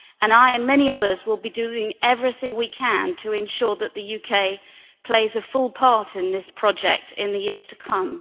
I, and many others, will be doing everything we can to ensure that the UK plays a full part in this project in the years to come.